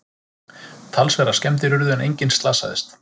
Talsverðar skemmdir urðu en enginn slasaðist